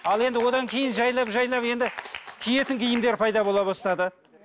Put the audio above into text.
ал енді одан кейін жайлап жайлап енді киетін киімдер пайда бола бастады